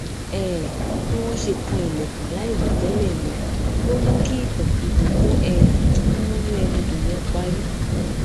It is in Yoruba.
um bí wón ṣe kan ilèkùn láìròtélè yẹn ló mú kí ìtàn ìtàn tó um ń múnú ẹni dùn yẹn parí